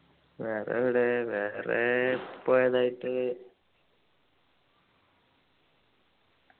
വേറെ എവിടെ വേറെ പോയതായിട്ട്